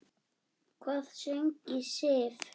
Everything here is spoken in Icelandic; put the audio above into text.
Hvað söng í Sif?